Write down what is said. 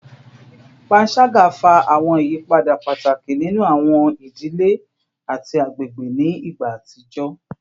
Panṣaga fa awọn iyapa pataki ninu awọn idile ati agbegbe ni igba atijọ